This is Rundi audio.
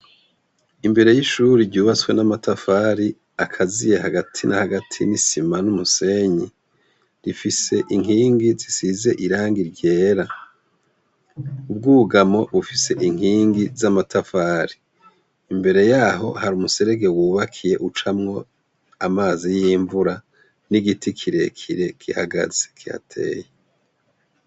Imbere y’ishure ryubatswe n’amatafari akatiye hagati na hagati n’isima n’umusenyi, ifise inkingi zishize irangi ryera. Ubwugamo bufise inkingi z'amatafari. Imbere yaho hari umuserege wubakiye ucamwo amazi y’imvura n’igiti kire kire gihagaze kihateye.